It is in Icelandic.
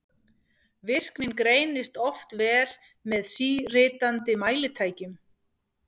Virknin greinist oft vel með síritandi mælitækjum.